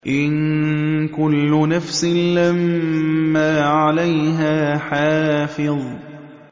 إِن كُلُّ نَفْسٍ لَّمَّا عَلَيْهَا حَافِظٌ